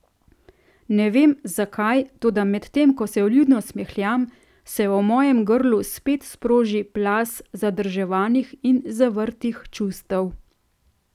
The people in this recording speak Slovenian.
Ne vem, zakaj, toda medtem ko se vljudno smehljam, se v mojem grlu spet sproži plaz zadrževanih in zavrtih čustev.